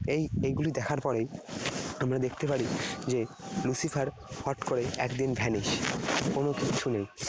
এই এগুলি দেখার পরেই আমরা দেখতে পারি যে Lucifer হট করে একদিন vanish । কোন কিচ্ছু নেই